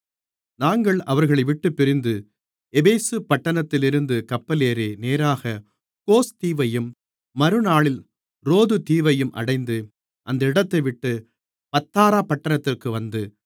நாங்கள் அவர்களைவிட்டுப் பிரிந்து எபேசு பட்டணத்திலிருந்து கப்பலேறி நேராக கோஸ் தீவையும் மறுநாளில் ரோது தீவையும் அடைந்து அந்த இடத்தைவிட்டு பத்தாரா பட்டணத்திற்கு வந்து